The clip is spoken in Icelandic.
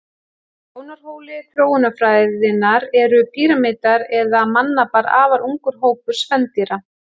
Frá sjónarhóli þróunarfræðinnar eru prímatar eða mannapar afar ungur hópur spendýra.